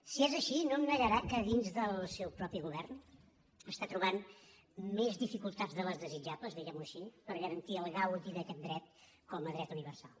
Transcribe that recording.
si és així no negarà que dins del seu propi govern està trobant més dificultats de les desitjables diguem ho així per garantir el gaudi d’aquest dret com a dret universal